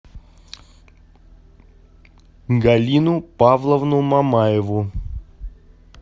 галину павловну мамаеву